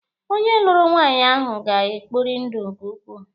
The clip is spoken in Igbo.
Onye lụrụ nwaanyị ahụ ga-ekpori ndụ nke ukwuu.